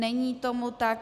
Není tomu tak.